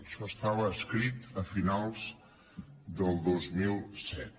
això estava escrit a finals del dos mil set